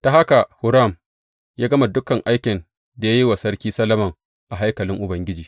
Ta haka Huram ya gama dukan aikin da ya yi wa Sarki Solomon a haikalin Ubangiji.